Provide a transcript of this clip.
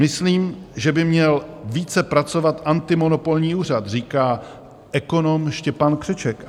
"Myslím, že by měl více pracovat antimonopolní úřad," říká ekonom Štěpán Křeček.